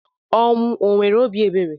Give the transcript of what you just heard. Ọnwụ o nwere obi ebere?